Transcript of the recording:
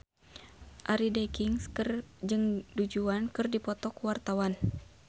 Arie Daginks jeung Du Juan keur dipoto ku wartawan